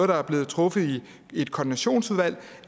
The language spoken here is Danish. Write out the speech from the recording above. der er blevet truffet i et koordinationsudvalg